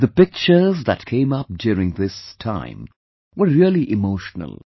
The pictures that came up during this time were really emotional